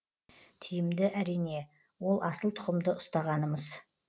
тиімді әрине ол асыл тұқымды ұстағанымыз